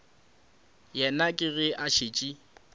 yena ke ge a šetše